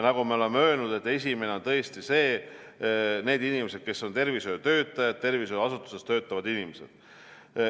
Nagu me oleme öelnud, on esimesed tõesti need inimesed, kes on tervishoiutöötajad, tervishoiuasutuses töötavad inimesed.